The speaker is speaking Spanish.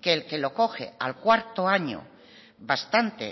que el que lo coge al cuarto año bastante